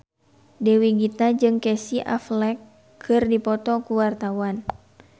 Dewi Gita jeung Casey Affleck keur dipoto ku wartawan